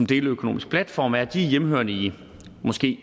deleøkonomiske platforme hvis de er hjemmehørende i